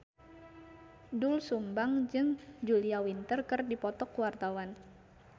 Doel Sumbang jeung Julia Winter keur dipoto ku wartawan